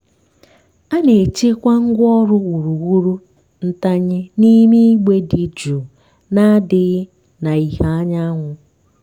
a na-echekwa ngwaọrụ wuruwuru ntanye n'ime igbe dị jụụ na-adịghị na ìhè anyanwụ.